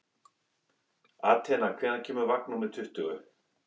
Atena, hvenær kemur vagn númer tuttugu?